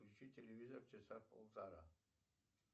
включи телевизор часа полтора